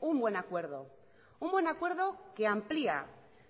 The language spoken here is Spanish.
un buen acuerdo un buen acuerdo que amplia